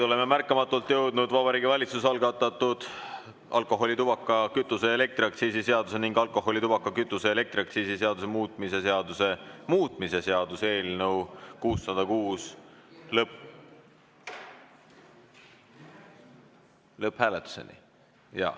Oleme märkamatult jõudnud Vabariigi Valitsuse algatatud alkoholi-, tubaka-, kütuse- ja elektriaktsiisi seaduse ning alkoholi-, tubaka-, kütuse- ja elektriaktsiisi seaduse muutmise seaduse muutmise seaduse eelnõu 606 lõpphääletuseni.